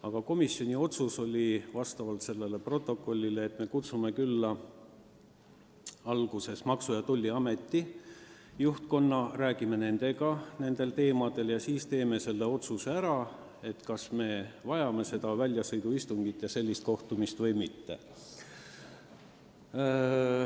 Aga komisjoni otsus oli selle protokolli kohaselt, et me kutsume külla alguses Maksu- ja Tolliameti juhtkonna, räägime nendega nendel teemadel ja siis otsustame, kas me vajame väljasõiduistungit ja neid kohtumisi või mitte.